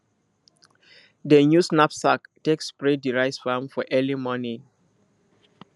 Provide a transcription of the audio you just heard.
dem use knapsak take spray the rice farm for early morning